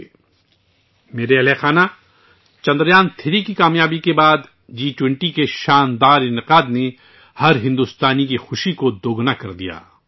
میرے پیارے اہلِ خانہ ، چندریان3 کی کام یابی کے بعد عظیم الشان جی 20 ایونٹ نے ہر بھارتی کی خوشی کو دوگنا کر دیا